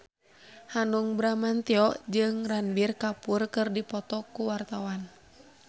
Hanung Bramantyo jeung Ranbir Kapoor keur dipoto ku wartawan